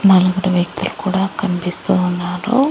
నలుగుడు వ్యక్తులు కూడా కన్పిస్తూ ఉన్నారు.